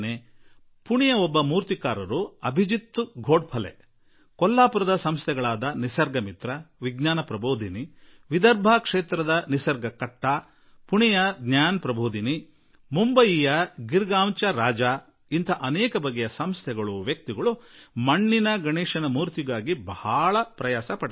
ಪುಣೆಯ ಒಬ್ಬ ಮೂರ್ತಿಕಾರ ಶ್ರೀಮಾನ್ ಅಭಿಜಿತ್ ಧೋಂಡ್ ಫಲೆ ಕೊಲ್ಲಾಪುರದ ನಿಸರ್ಗಮಿತ್ರ ವಿಜ್ಞಾನ ಪ್ರಭೋಧಿನಿಯಂತಹ ಸಂಸ್ಥೆಗಳು ವಿದರ್ಭ ಕ್ಷೇತ್ರದ ನಿಸರ್ಗ ಕಟ್ಟ ಪುಣೆಯ ಜ್ಞಾನ ಪ್ರಭೋಧಿನಿ ಮುಂಬೈನ ಗಿರ್ಗಾಂವ್ ಚ ರಾಜ ಹೀಗೆ ಅನೇಕ ವಿಧದ ಸಂಸ್ಥೆಗಳು ವ್ಯಕ್ತಿಗಳು ಮಣ್ಣಿನ ಗಣೇಶ ನಿರ್ಮಿಸುವುದರಲ್ಲಿ ಬಹಳ ಶ್ರಮ ಪಡುತ್ತಾರೆ